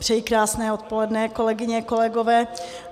Přeji krásné odpoledne, kolegyně, kolegové.